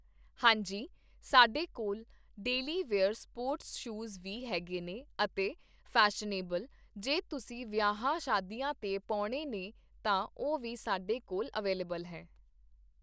ਹਾਂਜੀ ਸਾਡੇ ਕੋਲ ਡੇਲੀ ਵਿਅਰਜ ਸਪੋਰਟਸ ਸ਼ੂਜ਼ ਵੀ ਹੈਗੇ ਨੇ ਅਤੇ ਫੈਸ਼ਨੇਬਲ, ਜੇ ਤੁਸੀਂ ਵਿਆਹਵਾਂ ਸ਼ਾਦੀਆਂ 'ਤੇ ਪਾਉਣੇ ਨੇ, ਤਾਂ ਉਹ ਵੀ ਸਾਡੇ ਕੋਲ ਅਵੈਲੇਬਲ ਹੈ